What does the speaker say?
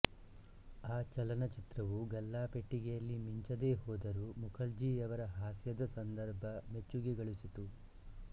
ಆ ಚಲನಚಿತ್ರವು ಗಲ್ಲಾಪೆಟ್ಟಿಗೆಯಲ್ಲಿ ಮಿಂಚದೆ ಹೋದರೂ ಮುಖರ್ಜಿಯವರ ಹಾಸ್ಯದ ಸಂಧರ್ಭ ಮೆಚ್ಚುಗೆ ಗಳಿಸಿತು